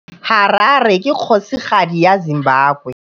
Harare ke kgosigadi ya Zimbabwe.